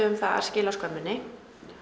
um að skila skömminni